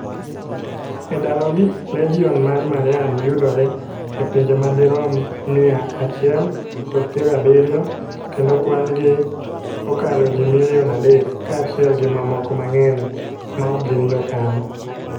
E ndalogi, Legion mar Mariam yudore e pinje madirom mia achile kod piero abiriyo, kendo kwan gi okalo ji milion adek, kaachiel gi mamoko mang'eny maok gin jokanyo.